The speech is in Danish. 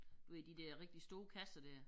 Du ved de der rigtig store kasser dér